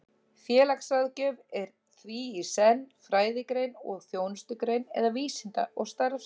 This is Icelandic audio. Félagsráðgjöf er því í senn fræðigrein og þjónustugrein, eða vísinda- og starfsgrein.